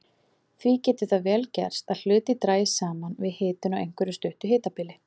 Því getur það vel gerst að hlutir dragist saman við hitun á einhverju stuttu hitabili.